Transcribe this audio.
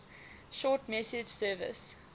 short message service